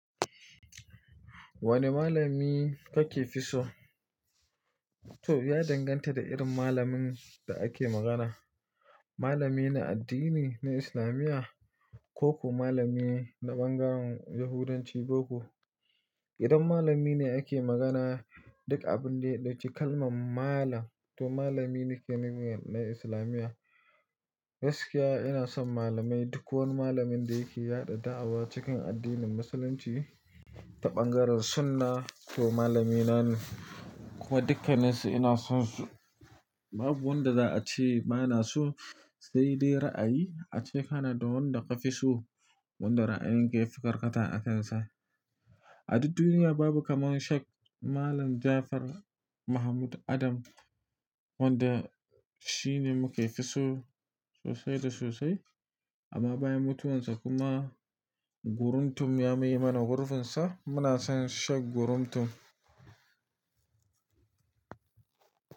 Wane malami kake fi so? To ya danganta da irin malamin da ake magana. Malami na addini na Islamiyya ko ko malami na ɓangaren Yahudanci boko. Idan malami ne ake magana, duk abin da ya ɗauci kalman malam to malami ne ke nuna na Islamiyya. Gaskiya ina son malamai duk wani malamin da yake yaɗa da'awa cikin addinin Musulunci ta ɓangaren sunna to malamina ne. Kuma dukkanansu ina son su. Babu wanda za a ce bana so, sai dai ra'ayi a ce kana da wanda ka fi so, wanda ra'ayin ka ya fi karkata a kansa. A duk duniya babu kamar Shek Malam Jafar Mahmud Adam wanda shi ne muke so sosai da sosai. Amma bayan mutuwarsa kuma Guruntum ya maye mana gurfinsa muna son Shek Guruntum.